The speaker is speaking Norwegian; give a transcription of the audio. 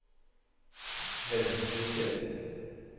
Venstrejuster